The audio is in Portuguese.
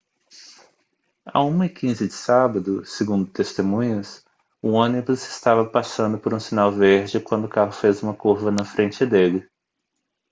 à 1:15 de sábado segundo testemunhas o ônibus estava passando por um sinal verde quando o carro fez uma curva na frente dele